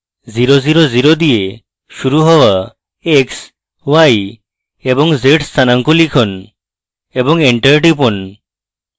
0 0 0 দিয়ে শুরু হওয়া x y এবং z স্থানাঙ্ক লিখুন এবং enter টিপুন